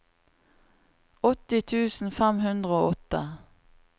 åtti tusen fem hundre og åtte